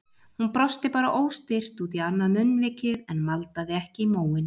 Hún brosti bara óstyrkt út í annað munnvikið en maldaði ekki í móinn.